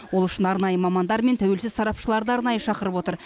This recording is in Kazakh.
ол үшін арнайы мамандар мен тәуелсіз сарапшыларды арнайы шақырып отыр